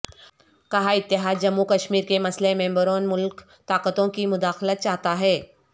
کہا اتحاد جموںکشمیر کے مسئلہ میںبیرون ملک طاقتوں کی مداخلت چاہتا ہے